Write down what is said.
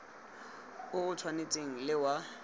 o o tshwanang le wa